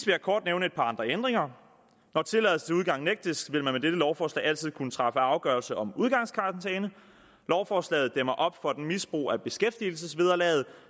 jeg kort nævne et par andre ændringer når tilladelse til udgang nægtes vil man med dette lovforslag altid kunne træffe afgørelse om udgangskarantæne lovforslaget dæmmer op for et misbrug af beskæftigelsesvederlaget